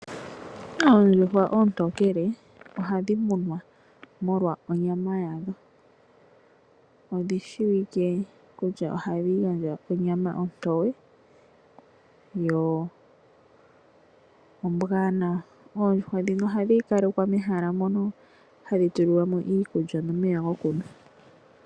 Oondjuhwa oontokele ohadhi munwa molwa onyama yadho. Odhi shiwike hadhi gandja onyama ontoye yo ombwaanawa. Oondjuhwa ndhino ohadhi kale kwa mehala mono hadhi tulilwa mo iikulya nomeya gokunwa.